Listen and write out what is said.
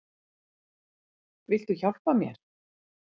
Viltu hjálpa mér?